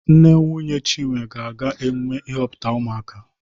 Nne nwunye Chinwe ga-aga emume ịhọpụta ụmụaka